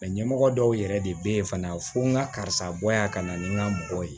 ɲɛmɔgɔ dɔw yɛrɛ de bɛ ye fana fɔ n ka karisa bɔ yan ka na ni n ka mɔgɔ ye